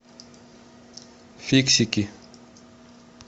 фиксики